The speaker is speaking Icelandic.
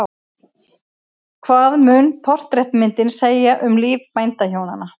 Hvað mun portrettmyndin segja um líf bændahjónanna?